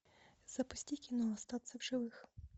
запусти кино остаться в живых